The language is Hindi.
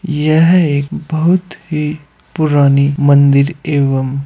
यह एक बहुत ही पुरानी मंदिर एवम् --